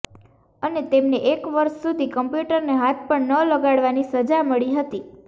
અને તેમને એક વર્ષ સુધી કમ્પ્યૂટરને હાથ પણ ન લગાડવાની સજા મળી હતી